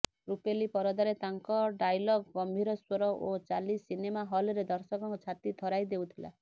ରୂପେଲି ପରଦାରେ ତାଙ୍କ ଡାଇଲଗ ଗମ୍ଭୀର ସ୍ୱର ଓ ଚାଲି ସିନେମା ହଲ୍ରେ ଦର୍ଶକଙ୍କ ଛାତି ଥରାଇ ଦେଉଥିଲା